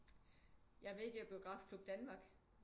Jeg er med i det der Biografklub Danmark